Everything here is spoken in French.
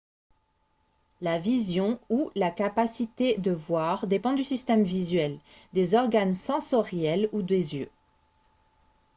la vision ou la capacité de voir dépend du système visuel des organes sensoriels ou des yeux